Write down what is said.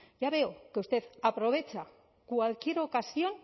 ya veo que usted aprovecha cualquier ocasión